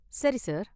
சரி சார்.